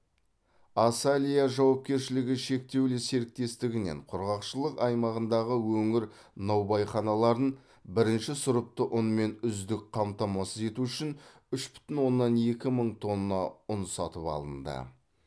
асалия жауапкершілігі шектеулі серіктестігінен құрғақшылық аймағындағы өңір наубайханаларын бірінші сұрыпты ұнмен үздіксіз қамтамасыз ету үшін үш бүтін оннан екі мың тонна ұн сатып алынды